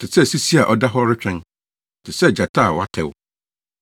Te sɛ sisi a ɔda hɔ retwɛn, te sɛ gyata a watɛw,